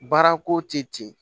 Baara ko tɛ ten